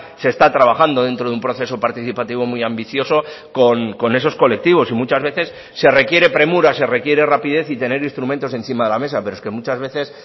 se está trabajando dentro de un proceso participativo muy ambicioso con esos colectivos y muchas veces se requiere premura se requiere rapidez y tener instrumentos encima de la mesa pero es que muchas veces